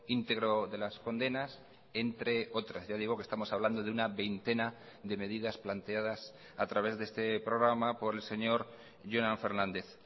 íntegro de las condenas entre otras ya digo que estamos hablando de una veintena de medidas planteadas a través de este programa por el señor jonan fernández